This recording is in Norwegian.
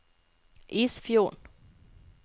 Isfjorden